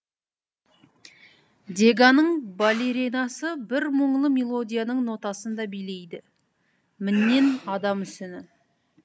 деганың балеринасы бір мұңлы мелодияның нотасында билейді міннен ада мүсіні